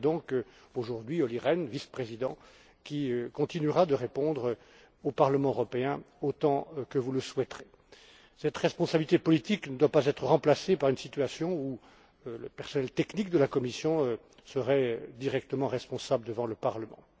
C'est donc aujourd'hui Olli Rehn, vice président, qui continuera de répondre au Parlement européen autant que vous le souhaiterez. Cette responsabilité politique ne doit pas être remplacée par une situation où le personnel technique de la Commission serait directement responsable devant le Parlement.